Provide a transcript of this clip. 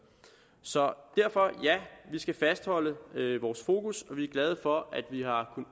så derfor ja vi skal fastholde vores fokus og vi er glade for at vi har